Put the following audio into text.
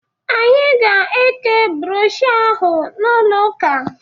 Anyi ga-eke brọshọ ahụ n'ụlo ụka